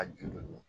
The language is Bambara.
A ju don